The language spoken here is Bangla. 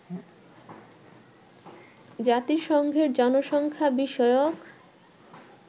জাতিসংঘের জনসংখ্যা বিষয়ক